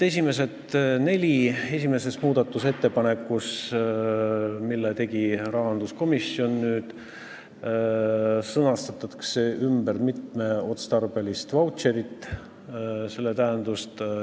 Esimese muudatusettepanekuga, mille tegi rahanduskomisjon, sõnastatakse nüüd ümber mitmeotstarbelise vautšeri tähendus.